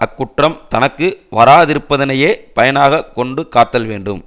அக்குற்றம் தனக்கு வாராதிருப்பதனையே பயனாக கொண்டு காத்தல் வேண்டும்